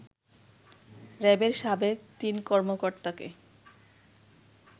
র‌্যাবের সাবেক তিন কর্মকর্তাকে